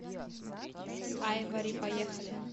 айвори поехали